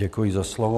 Děkuji za slovo.